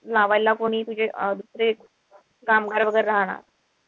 लावायला कोणी तुझे कामगार वगैरे राहणार?